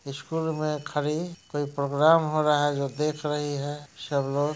school मे खरी कोई प्रोग्राम हो रहा है जो देख रही है शबलोग --